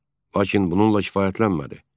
Lakin bununla kifayətlənmədi.